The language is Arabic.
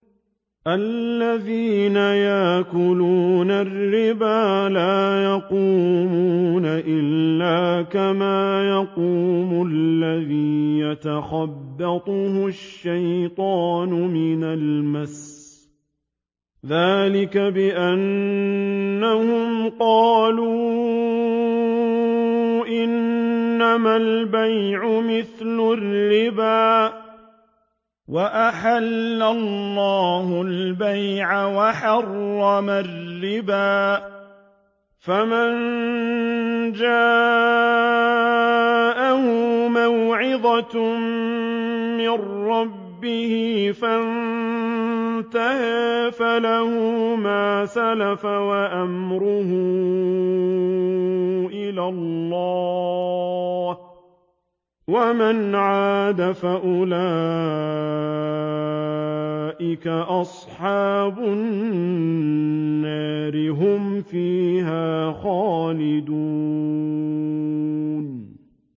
الَّذِينَ يَأْكُلُونَ الرِّبَا لَا يَقُومُونَ إِلَّا كَمَا يَقُومُ الَّذِي يَتَخَبَّطُهُ الشَّيْطَانُ مِنَ الْمَسِّ ۚ ذَٰلِكَ بِأَنَّهُمْ قَالُوا إِنَّمَا الْبَيْعُ مِثْلُ الرِّبَا ۗ وَأَحَلَّ اللَّهُ الْبَيْعَ وَحَرَّمَ الرِّبَا ۚ فَمَن جَاءَهُ مَوْعِظَةٌ مِّن رَّبِّهِ فَانتَهَىٰ فَلَهُ مَا سَلَفَ وَأَمْرُهُ إِلَى اللَّهِ ۖ وَمَنْ عَادَ فَأُولَٰئِكَ أَصْحَابُ النَّارِ ۖ هُمْ فِيهَا خَالِدُونَ